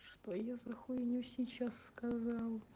что я за хуйню сейчас сказал